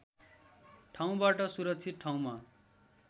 ठाउँबाट सुरक्षित ठाउँमा